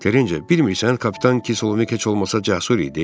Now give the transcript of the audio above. Terrencə, bilmirsən kapitan Kislovski heç olmasa cəsur idi?